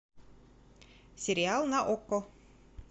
сериал на окко